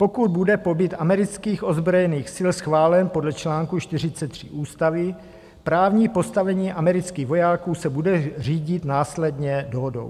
Pokud bude pobyt amerických ozbrojených sil schválen podle článku 43 ústavy, právní postavení amerických vojáků se bude řídit následně dohodou.